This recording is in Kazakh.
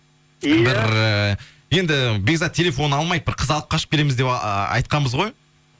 бір ыыы енді бекзат телефонын алмайды бір қыз алып қашып келеміз деп айтқанбыз ғой